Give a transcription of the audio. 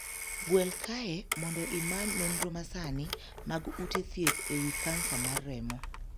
Gwel kae mondo imany nonro masani mag ute thieth e wii kansa mar remo.